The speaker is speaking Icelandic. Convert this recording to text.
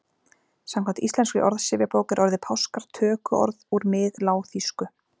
Samkvæmt Íslenskri orðsifjabók er orðið páskar tökuorð úr miðlágþýsku.